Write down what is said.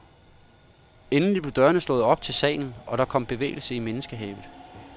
Endelig blev dørene slået op ind til salen, og der kom bevægelse i menneskehavet.